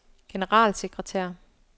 generalsekretær